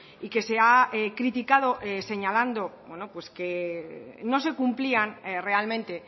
y que se ha criticado señalando pues que no se cumplían realmente